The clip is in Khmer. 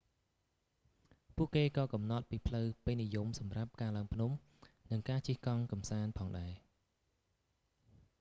ពួកគេក៏កំណត់ពីផ្លូវពេញនិយមសម្រាប់ការឡើងភ្នំ និងការជិះកង់កម្សាន្តផងដែរ